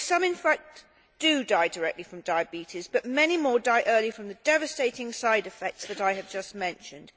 In fact some do die directly from diabetes, but many more die early from the devastating side effects that I have just mentioned.